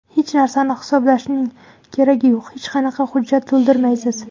Hech narsani hisoblashning keragi yo‘q, hech qanaqa hujjat to‘ldirmaysiz.